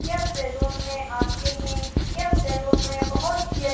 यह सैलून में आते है। यह सैलून में बोहोत ही अच--